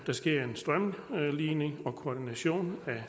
der sker en strømlining og koordination af